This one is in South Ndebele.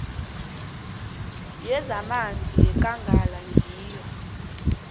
yezamanzi yekangala ngiyo